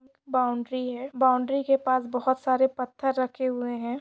Boundary है। Boundary के पास बहोत सारे पत्तर रखे हुए है।